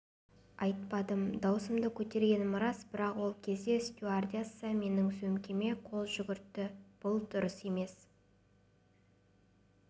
айтпадым даусымды көтергенім рас бірақ ол кезде стюардесса менің сөмкеме қол жүгіртті бұл дұрыс емес